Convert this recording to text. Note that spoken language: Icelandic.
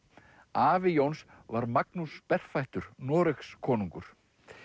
afi Jóns var Magnús berfættur Noregskonungur